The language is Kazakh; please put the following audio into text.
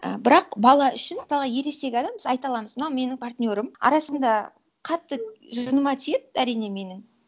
і бірақ бала үшін мысалға ересек адам біз айта аламыз мынау менің партнерым арасында қатты жыныма тиеді әрине менің